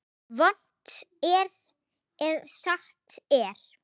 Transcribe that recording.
Vont er ef satt er.